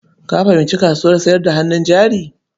Ka fahimci kasuwar sayar da hannun jari?